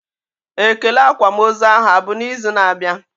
Ekele akwamozu ahụ abụ na izu na abịa?